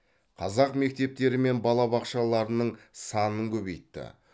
қазақ мектептері мен балабақшаларының санын көбейтті